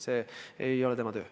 See ei ole tema töö.